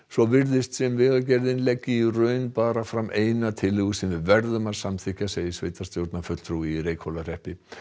svo virðist sem Vegagerðin leggi í raun bara fram eina tillögu sem við verðum að samþykkja segir sveitarstjórnarfulltrúi í Reykhólahreppi